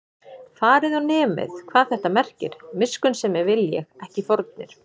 Farið og nemið, hvað þetta merkir: Miskunnsemi vil ég, ekki fórnir